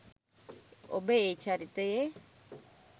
ඔබ ඒ චරිතයේ